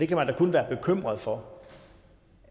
kan da kun være bekymret for